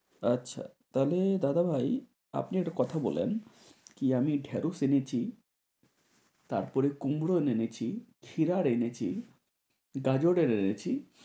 আচ্ছা তাহলে দাদাভাই আপনি একটা কথা বলেন? কি আমি ঢেঁড়শ এনেছি, তারপরে কুমড়ো এনেছি, ছিড়ার এনেছি, গাজরের এনেছি।